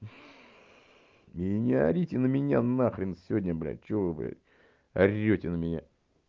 и не орите на меня на хрен сегодня блядь что вы блядь орёте на меня